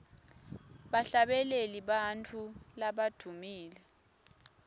bahlabeleli bantfu labadvumile